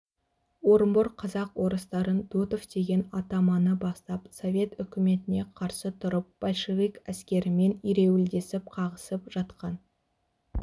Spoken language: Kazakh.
орынбор казак-орыстарын дутов деген атаманы бастап совет үкіметіне қарсы тұрып большевик әскерімен ереуілдесіп қағысып жатқан